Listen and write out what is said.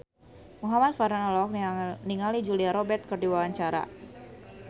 Muhamad Farhan olohok ningali Julia Robert keur diwawancara